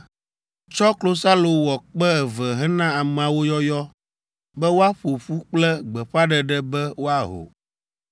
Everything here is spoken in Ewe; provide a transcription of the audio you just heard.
“Tsɔ klosalo wɔ kpẽ eve hena ameawo yɔyɔ be woaƒo ƒu kple gbeƒãɖeɖe be woaho.